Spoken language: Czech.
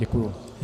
Děkuji.